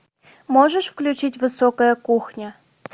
можешь включить высокая кухня